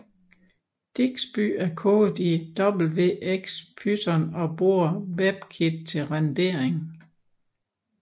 Digsby er kodet i wxPython og bruger Webkit til rendering